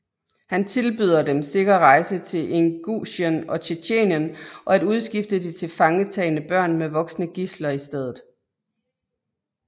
Han tilbyder dem sikker rejse til Ingusjien og Tjetjenien og at udskifte de tilfangetagne børn med voksne gidsler i steder